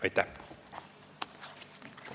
Aitäh!